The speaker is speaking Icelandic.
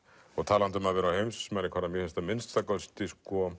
og talandi um að vera á heimsmælikvarða mér finnst að minnsta kosti